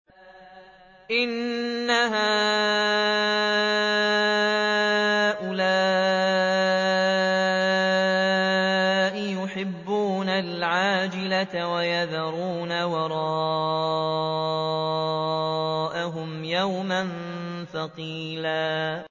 إِنَّ هَٰؤُلَاءِ يُحِبُّونَ الْعَاجِلَةَ وَيَذَرُونَ وَرَاءَهُمْ يَوْمًا ثَقِيلًا